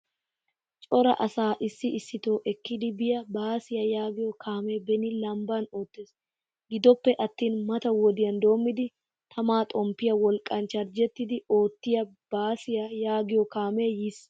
Cora asaa issito ekkidi biyaa baasiyaa yaagiyo kaame beni lamban oottees. Giddoppe attin mata wodiyan dommidi tamaa xompiya wolqqan charjjettidi oottiyaa baasiyaa yaagiyo kaame yiis.